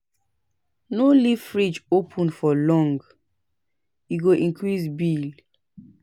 No leave frideg open for long, e go increase bill.